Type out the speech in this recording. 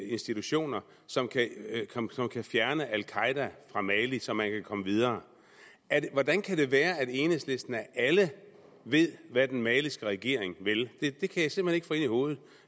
institutioner som kan fjerne al qaeda fra mali så man kan komme videre hvordan kan det være at enhedslisten af alle ved hvad den maliske regering vil det kan jeg simpelt hen ikke få ind hovedet